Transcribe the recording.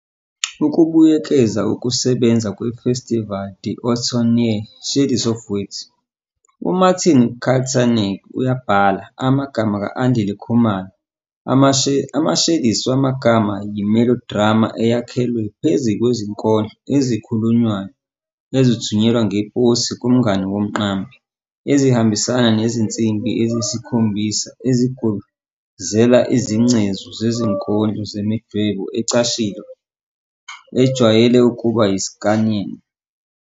Ukubuyekeza ukusebenza kwe-Festival d'Automne ye- "Shades of Words", uMartin Kaltenecker uyabhala, Amagama ka-Andile Khumalo ama-Shades wamagama yi-melodrama eyakhelwe phezu kwezinkondlo ezikhulunywayo, ezithunyelwa ngeposi kumngani womqambi, ezihambisana nezinsimbi eziyisikhombisa ezigubuzela izingcezu zezinkondlo ngemidwebo ecashile futhi ejwayele ukuba yi-'Sciarrinian '.